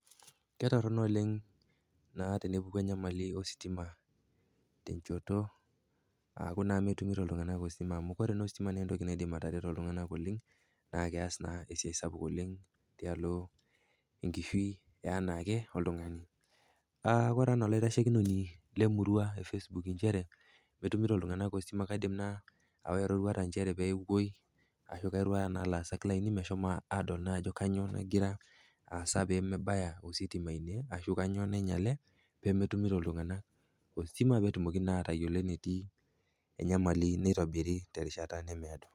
Ketorono oleng' naa tenepuku naa enyamali ositima tenchoto, aku naa metumito iltung'anak ositima, ore naa ositima naa entoki naidim atareto iltung'ana oleng naa keas na esiai sapuk oleng eanaake tialo naa enkishui oltung'ani. Ore anaa olaitashekinoni le murua efacebook nchere etumito iltung'ana ositima kaidim naa aawa eroruata nchere peewuoi ashu airuaya naa laasak laini pewuo adol ajo kanyoo nagira asa pee mebaya ositima ine ashu kanyoo nainyale pemetumito iltung'ana ositima petumoki naa atayolo enetii enyamali neitobiri terishata nemeedo.